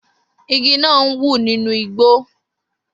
Igi náà ń wù nínú igbó